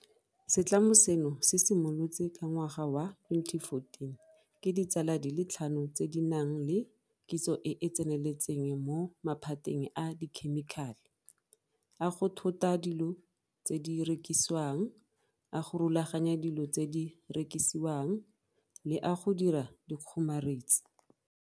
Setlamo seno se simolotswe ka ngwaga wa 2014 ke ditsala di le tlhano tse di nang le kitso e e tseneletseng mo maphateng a dikhemikhale, a go thota dilo tse di rekisiwang, a go rulaganya dilo tse di rekisiwang le a go dira dikgomaretsi.